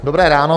Dobré ráno.